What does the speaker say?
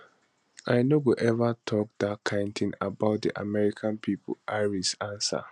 i no go eva tok dat kain tin about di american pipo harris answer